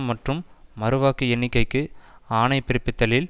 மற்றும் மறுவாக்கு எண்ணிக்கைக்கு ஆணை பிற்ப்பித்தலில்